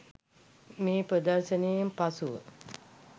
මේ ප්‍රදර්ශනයෙන් පසුව